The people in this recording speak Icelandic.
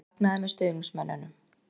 Hann fagnaði með stuðningsmönnunum?